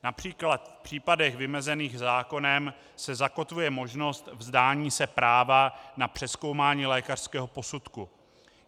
Například v případech vymezených zákonem se zakotvuje možnost vzdání se práva na přezkoumání lékařského posudku.